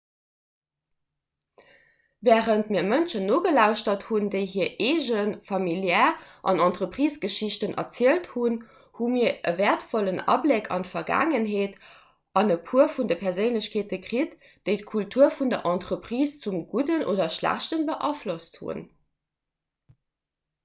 wärend mir mënschen nogelauschtert hunn déi hir eegen familiär an entreprisegeschichten erzielt hunn hu mir e wäertvollen abléck an d'vergaangenheet an e puer vun de perséinlechkeete kritt déi d'kultur vun der entreprise zum gudden oder schlechte beaflosst hunn